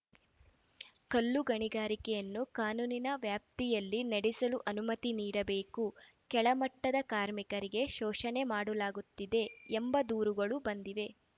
ಕಲ್ಲು ಗಣಿಗಾರಿಕೆಯನ್ನು ಕಾನೂನಿನ ವ್ಯಾಪ್ತಿಯಲ್ಲಿ ನಡೆಸಲು ಅನುಮತಿ ನೀಡಬೇಕು ಕೆಳಮಟ್ಟದ ಕಾರ್ಮಿಕರಿಗೆ ಶೋಷಣೆ ಮಾಡಲಾಗುತ್ತಿದೆ ಎಂಬ ದೂರುಗಳು ಬಂದಿವೆ